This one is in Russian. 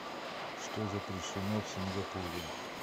что запрещено в сингапуре